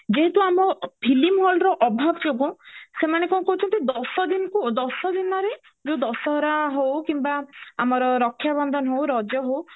ଯେହେତୁ ଆମ film hall ର ଅଭାବ ମାନେ କଣ କହୁଚନ୍ତି ଦଶ ଦିନକୁ ଦଶ ଦିନରେ ଯୋଉ ଦଶ ହରା ହଅଉ କିମ୍ବା ଆମର ରକ୍ଷ୍ୟା ବନ୍ଧନ ହୋଉ ରଜ ହୋଉ